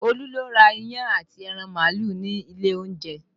Olú lọ ra iyán àti ẹran màálù ní ilé olóúnjẹ